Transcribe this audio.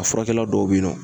A furakɛli dɔw be yen nɔ